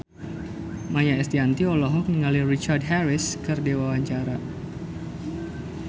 Maia Estianty olohok ningali Richard Harris keur diwawancara